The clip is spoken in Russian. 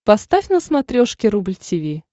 поставь на смотрешке рубль ти ви